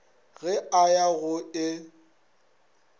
ge a ya go e